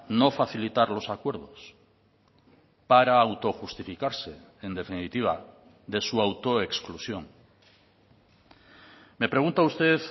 no facilitarlos acuerdos para autojustificarse en definitiva de su autoexclusión me pregunta usted